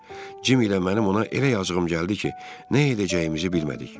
Cim ilə mənim ona elə yazığım gəldi ki, nə edəcəyimizi bilmədik.